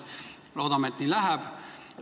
Loodame, et nii läheb.